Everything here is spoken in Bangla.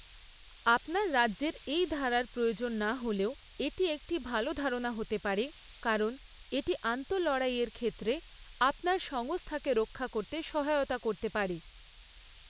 আপনার রাজ্যের এই ধারার প্রয়োজন না হলেও এটি একটি ভাল ধারণা হতে পারে, কারণ এটি আন্তঃলড়াইয়ের ক্ষেত্রে আপনার সংস্থাকে রক্ষা করতে সহায়তা করতে পারে।